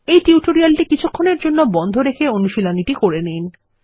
এই টিউটোরিয়ালটি কিছুক্ষণের জন্য বন্ধ রেখে অনুশীলনীটি করে নিন